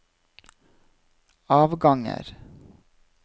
avganger